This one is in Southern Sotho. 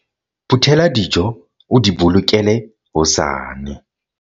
phuthela dijo o di bolokele hosane